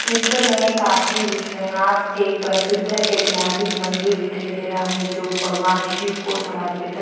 चित्र में काशी विश्वनाथ एक प्रसिद्ध ऐतिहासिक मन्दिर दिखाई दे रहा है जो भगवन शिव को समर्पित --